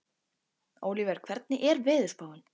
Ólíver, hvernig er veðurspáin?